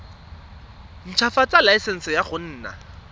ntshwafatsa laesense ya go nna